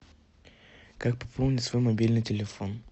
как пополнить свой мобильный телефон